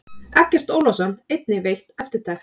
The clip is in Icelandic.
Eggert Ólafsson einnig veitt eftirtekt.